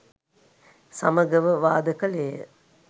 සමගව වාද කළේය.